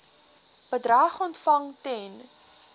bedrag ontvang ten